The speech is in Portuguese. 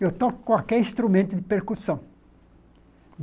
Eu toco qualquer instrumento de percussão.